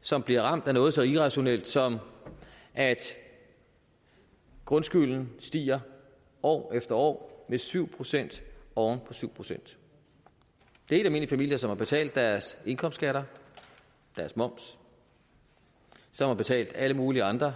som bliver ramt af noget så irrationelt som at grundskylden stiger år efter år med syv procent oven på syv procent det er helt almindelige familier der har betalt deres indkomstskatter deres moms som har betalt alle mulige andre